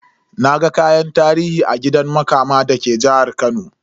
Naga kayan tarihi a gidan Makama da ke jihar Kano.